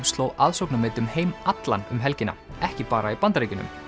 sló aðsóknarmet um heim allan um helgina ekki bara í Bandaríkjunum